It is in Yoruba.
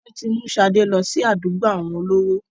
Wọn tí mú sade lọ sí àdúgbò àwọn olówó.